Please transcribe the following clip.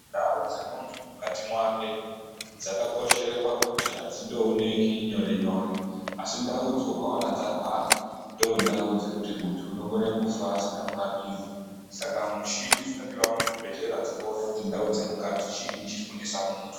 Ndau dzemunthu mukati mwake dzakakoshere pakuti adzindoonekwi nyore nyore asi ndaudzo ukaona dzarwara ndoo ndau dzakuti munthu unokona kufa asina kurapiwa saka mushini dzinowa muzvibhedhlera dzinoona kuti ndau dzemukati chiinyi chiri kunesa munthu.